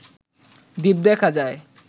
দ্বীপ দেখা যায়